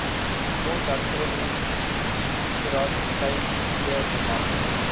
grondhervorming lrad kleinveebemarking